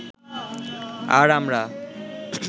আর আমরা